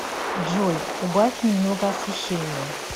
джой убавь немного освещение